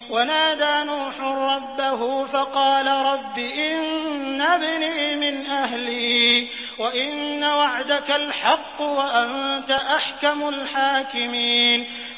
وَنَادَىٰ نُوحٌ رَّبَّهُ فَقَالَ رَبِّ إِنَّ ابْنِي مِنْ أَهْلِي وَإِنَّ وَعْدَكَ الْحَقُّ وَأَنتَ أَحْكَمُ الْحَاكِمِينَ